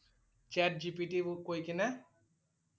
chat GPT কৈ কিনে